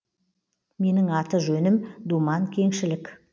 менің аты жөнім думан кеңшілік